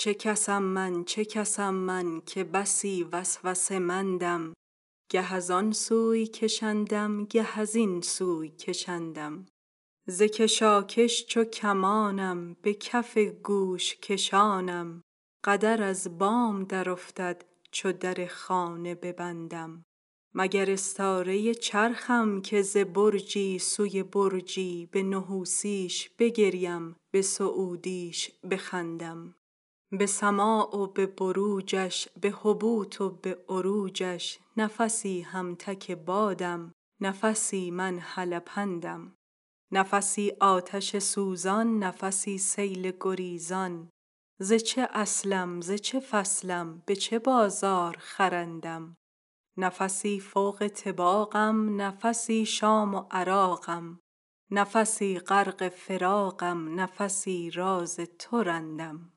چه کس ام من چه کس ام من که بسی وسوسه مندم گه از آن سوی کشندم گه از این سوی کشندم ز کشاکش چو کمان ام به کف گوش کشانم قدر از بام درافتد چو در خانه ببندم مگر استاره ی چرخم که ز برجی سوی برجی به نحوسی ش بگریم به سعودی ش بخندم به سما و به بروجش به هبوط و به عروجش نفسی هم تک بادم نفسی من هلپندم نفسی آتش سوزان نفسی سیل گریزان ز چه اصلم ز چه فصلم به چه بازار خرندم نفسی فوق طباقم نفسی شام و عراقم نفسی غرق فراقم نفسی راز تو رندم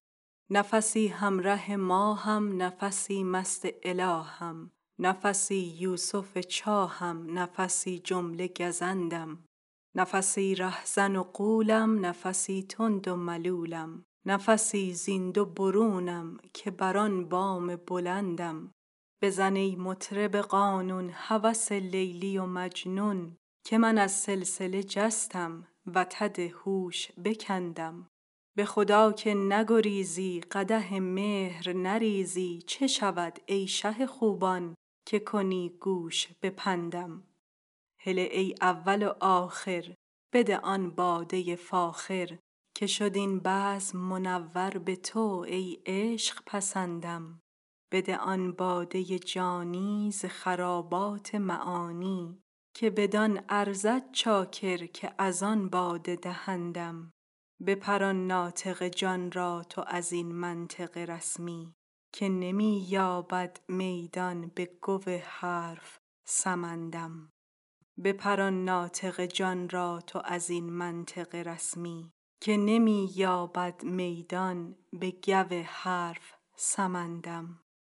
نفسی هم ره ماه م نفسی مست اله م نفسی یوسف چاه م نفسی جمله گزندم نفسی ره زن و غولم نفسی تند و ملولم نفسی زین دو برونم که بر آن بام بلندم بزن ای مطرب قانون هوس لیلی و مجنون که من از سلسله جستم وتد هوش بکندم به خدا که نگریزی قدح مهر نریزی چه شود ای شه خوبان که کنی گوش به پندم هله ای اول و آخر بده آن باده ی فاخر که شد این بزم منور به تو ای عشق پسندم بده آن باده ی جانی ز خرابات معانی که بدان ارزد چاکر که از آن باده دهندم بپران ناطق جان را تو از این منطق رسمی که نمی یابد میدان بگو حرف سمندم